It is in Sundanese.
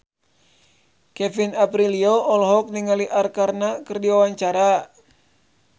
Kevin Aprilio olohok ningali Arkarna keur diwawancara